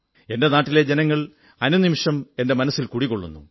എന്റെ നാട്ടിലെ ജനങ്ങൾ അനുനിമിഷം എന്റെ മനസ്സിൽ കുടികൊള്ളുന്നു